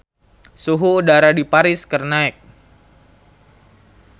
Suhu udara di Paris keur naek